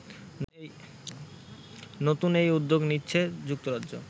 নতুন এ উদ্যোগ নিচ্ছে যুক্তরাজ্য